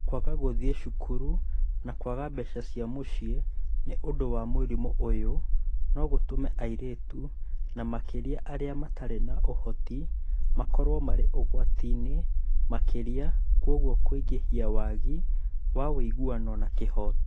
Kwaga gũthiĩ cukuru na kwaga mbeca cia mũciĩ nĩ ũndũ wa mũrimũ ũyũ no gũtũme airĩtu, na makĩria arĩa matarĩ na ũhoti, makorũo marĩ ũgwati-inĩ makĩria na kwoguo kũingĩhia wagi wa ũiguano na kĩhooto.